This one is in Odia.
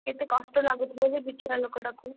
କେତେ କଷ୍ଟ ଲାଗୁଥିବ ସେ ବିଚରା ଲୋକ ଟାକୁ,